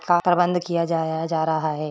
बंद किया जा रहा है।